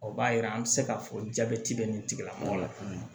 O b'a yira an mi se k'a fɔ jabɛti bɛ nin tigila mɔgɔ la